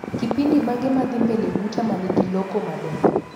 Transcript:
Kipindi mage madhii mbele buta manigi loko maber